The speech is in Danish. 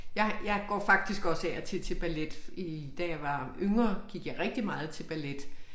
Jeg jeg går faktisk også af og til til ballet i da jeg var yngre gik jeg rigtig meget til ballet